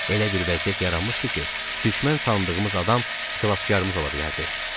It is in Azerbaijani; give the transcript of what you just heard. Elə bir vəziyyət yaranmışdı ki, düşmən sandığımız adam xilaskarımız ola bilərdi.